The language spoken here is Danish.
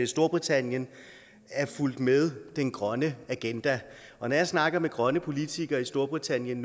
storbritannien er fulgt med den grønne agenda når jeg snakker med grønne politikere i storbritannien